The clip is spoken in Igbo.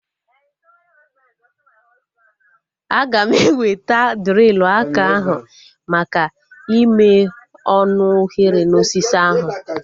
Aga m eweta drilu aka ahu maka ime ọnụ oghere na osisi ahu